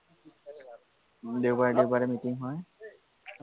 দেওবাৰে দেওবাৰে মিটিং হয়